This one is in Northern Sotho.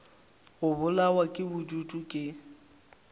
go bolawa ke bodutu ke